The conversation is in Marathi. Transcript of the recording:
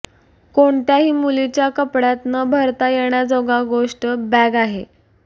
कोणत्याही मुलीच्या कपड्यात न भरता येण्याजोगा गोष्ट बॅग आहे